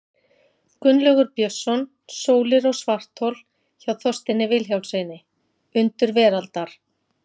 Gunnlaugur Björnsson, Sólir og svarthol, hjá Þorsteini Vilhjálmssyni, Undur veraldar.